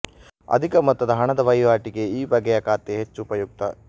ಅಧಿಕ ಮೊತ್ತದ ಹಣದ ವಹಿವಾಟಿಗೆ ಈ ಬಗೆಯ ಖಾತೆ ಹೆಚ್ಚು ಉಪಯುಕ್ತ